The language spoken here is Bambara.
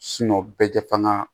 bɛɛ tɛ fanga